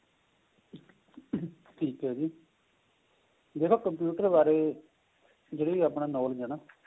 ਠੀਕ ਏ ਜੀ ਜਿਹੜਾ computer ਬਾਰੇ ਜਿਹੜੀ ਆਪਣੀ knowledge ਏ ਨਾ